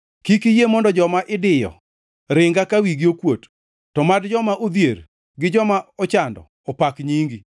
Kik iyie mondo joma idiyo ringa ka wigi okuot, to mad joma odhier gi joma ochando opak nyingi.